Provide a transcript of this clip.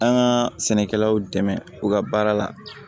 An ka sɛnɛkɛlaw dɛmɛ u ka baara la